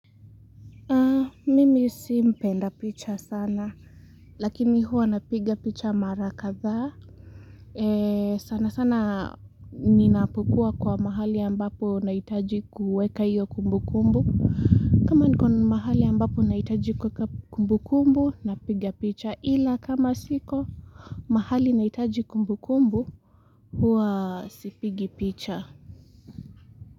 Mimi simpenda picha sana lakini huwa napiga picha mara kadhaa sana sana ninapukua kwa mahali ambapo naitaji kueka iyo kumbu kumbu kama niko mahali ambapo naitaji kueka kumbu kumbu napiga picha ila kama siko mahali naitaji kumbu kumbu huwa sipigi picha.